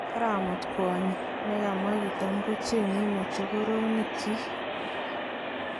Karamut kwonyi, ne kamwa kitam kochenge mochokoronik kyik.